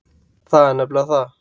Það er nefnilega það!